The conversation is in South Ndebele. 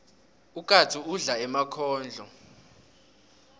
ukatsu udla emakhondlo